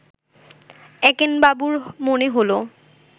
একেনবাবুর মনে হল